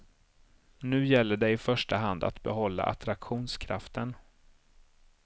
Nu gäller det i första hand att behålla attraktionskraften.